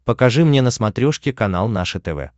покажи мне на смотрешке канал наше тв